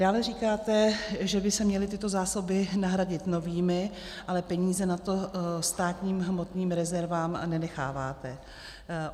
Dále říkáte, že by se měly tyto zásoby nahradit novými, ale peníze na to státním hmotným rezervám nenecháváte.